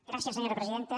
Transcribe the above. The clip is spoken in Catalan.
gràcies senyora presidenta